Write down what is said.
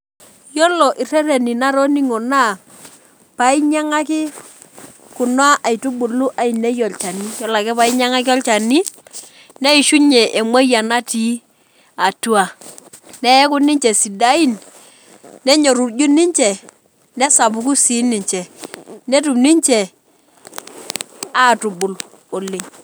Iyiolo irreteni natoning'o naa paainyang'aki kuna aitubulu ainei olchani. Iyiolo ake paainyang'aki olchani neishunye emuoyian natii atua. Neaku ninche sidain nenyorruju ninche nesapuku sii ninche, netum ninche aatubul oleng'.